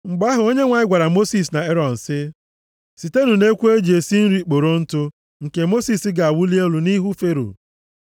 Mgbe ahụ, Onyenwe anyị gwara Mosis na Erọn sị, “Sitenụ nʼekwu e ji esi nri kporo ntụ nke Mosis ga-awụli elu nʼihu Fero.